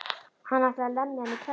Hann ætlaði að lemja hann í klessu.